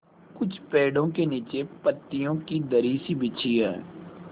कुछ पेड़ो के नीचे पतियो की दरी सी बिछी है